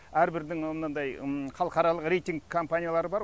әрбірдің мынандай халықаралық рейтинг компаниялары бар